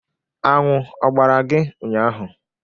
Aṅụ ọ gbara gị ụnyaahụ?